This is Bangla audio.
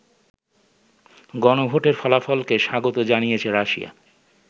গণভোটের ফলাফলকে স্বাগত জানিয়েছে রাশিয়া।